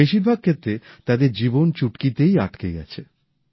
বেশিরভাগ ক্ষেত্রে তাদের জীবন চুটকিতেই আটকে গেছে